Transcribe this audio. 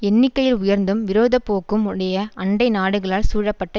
எண்ணிக்கையில் உயர்ந்தும் விரோத போக்கும் உடைய அண்டை நாடுகளால் சூழப்பட்ட